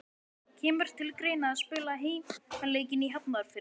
Kemur til greina að spila heimaleikinn í Hafnarfirði?